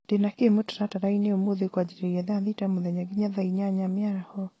ndĩ na kĩ mũtaratara-inĩ ũmũthĩ kwanjĩrĩria thaa thita mũthenya nginya thaa ĩnyanya mĩaraho